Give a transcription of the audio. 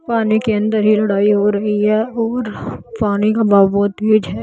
पानी के अंदर ही लड़ाई हो रही है और पानी का बहाव बहुत तेज है।